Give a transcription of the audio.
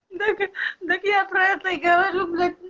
так так я про это и говорю блять